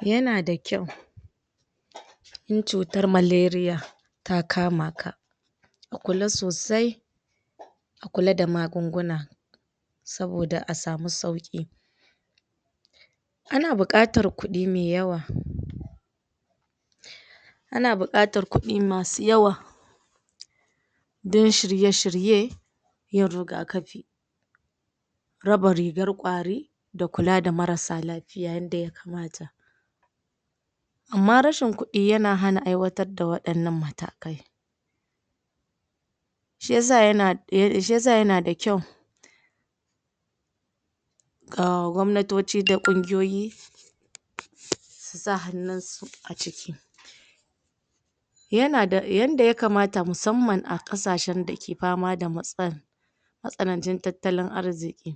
Yana dakyau In cutan malaria ta kamaka A kulla sosai A kulla da magunguna Saboda a samu sauki Kana buƙatar kudi me yawa Kana buƙatar kudi masu yawa Dan shirye shirye Yin rigakafi Raba rigar kwari Da kulla da marasa lafiya yanda ya kama ta Amma rashin kudi yana hana aiwata da wa inan matakai Shiyasa yana ah shiyasa yana da kyau kah gwamnatoci da kungiyoyi su sa hannun su a ciki yana da yanda yaka mata musanman a kasashe dake pama da matsalan matsinacin tattalin arziki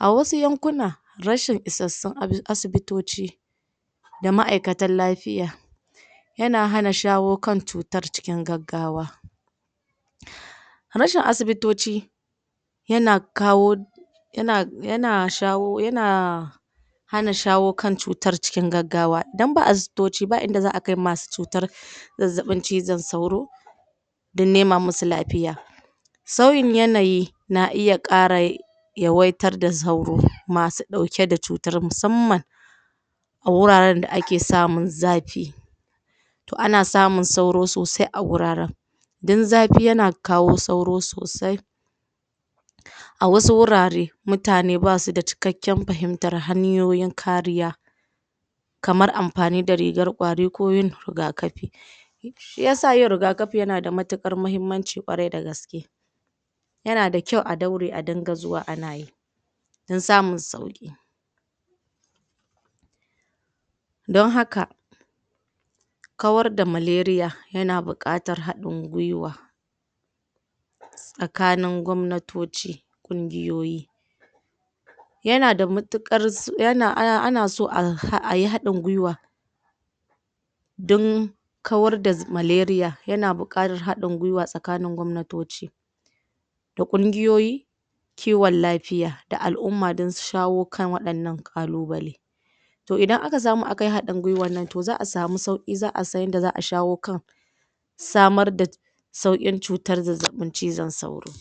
A wasu yankuna rashin isassun asi asibitoci da maikatan lafiya yana hana shawokan citar cikin gaggawa Rashin asibitoci yana kawo yana shayo yana hana shawokan chutar cikin gaggawa idan ba asibitoci ba inda za'a kai masu cutar zazzabin cizon sauro dan nema masu lafiya sauyin yanayi na iya karai ya waitar da sauro masu dauke da cutar musanman guraran da ake samun zafi ana samun sauro sosai aguraran dan zafi yana kawo sauro sosai A wasu hurare mutane ba suda cikaken fahimmtar hayoyin kariya kamar amfani da rigar kwari ko yin rigakafi shiyasa yin rigakafi yana da matikar muhimmanci kwarai da gaske yana da kyau a daure a dinga zuwa anayi dan samun sauki Dan haka kawar da malaria yana bukatar hadin gwiwa tsakanin gwamnatoci kungiyoyi yana matukar yana anaso ayi hadin gwiwa don ƙwar da malaria yana buƙatar hadin gwiwa tsakanin gwamnatoci da kungiyoyi ƙinwan lafiya da a'lumma dan su shawokan wai nan kallubale toh idan aka samu akayi hadin gwiwanan toh za'a samu sauƙi za'a san yinda za'a shawo samar da saukin cutar zazzabin cizon sauro